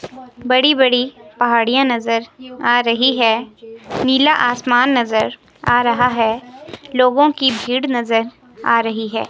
बड़ी बड़ी पहाड़ियां नजर आ रही है। नीला आसमान नजर आ रहा है। लोगों की भीड़ नजर आ रही है।